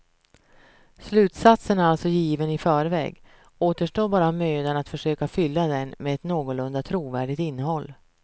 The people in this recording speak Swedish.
Slutsatsen är alltså given i förväg, återstår bara mödan att försöka fylla den med ett någorlunda trovärdigt innehåll.